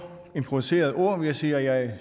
improviserede ord vil jeg sige at